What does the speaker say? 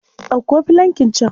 Ɗauko filankin can.